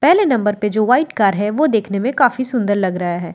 पहले नंबर पे जो व्हाइट कार है वो देखने में काफी सुंदर लग रहा है यह एक --